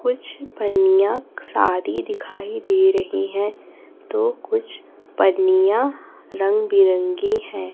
कुछ पन्नियाँ सादी दिखाई दे रही है तो कुछ पन्नियाँ रंग बिरंगी हैं।